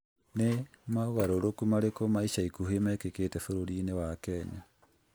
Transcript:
Nĩ mogarũrũku marĩkũ ma ica ikuhĩ mekĩkĩte bũrũri-inĩ wa Kenya?